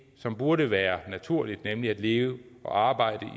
som burde være naturligt nemlig at leve og arbejde i